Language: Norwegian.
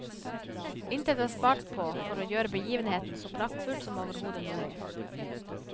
Intet er spart på for å gjøre begivenheten så praktfull som overhodet mulig.